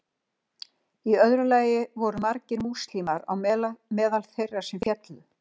í öðru lagi voru margir múslimar á meðal þeirra sem féllu